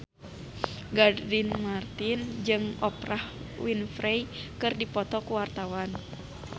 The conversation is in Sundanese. Gading Marten jeung Oprah Winfrey keur dipoto ku wartawan